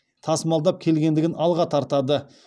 тасымалдап келгендігін алға тартады